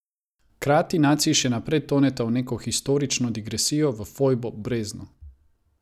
Hkrati naciji še naprej toneta v neko historično digresijo, v fojbo, brezno.